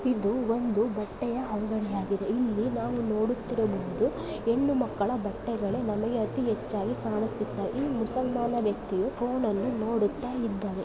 ಇದು ಒಂದು ಬಟ್ಟೆಯ ಅಂಗಡಿ ಯಾಗಿದೆ ಇಲ್ಲಿ ನಾವು ನೋಡುತ್ತಿರುವುದು ಹೆಣ್ಣು ಮಕ್ಕಳ ಬಟ್ಟೆಗಳು ನಮಗೆ ಅತಿ ಹೆಚ್ಚಾಗಿ ಕಾಣಿಸುತ್ತವೆ ಈ ಮುಸಲ್ಮಾನ ವ್ಯಕ್ತಿಯು ಫೋನನ್ನು ನೋಡುತ್ತಾ ಇದ್ದಾನೆ.